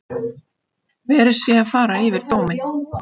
Verið sé að fara yfir dóminn